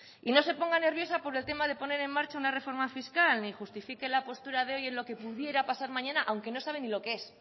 y no se ponga nerviosa por el tema de poner en marcha una reforma fiscal ni justifique la postura de hoy en lo que pudiera pasar mañana aunque no sabe ni lo que es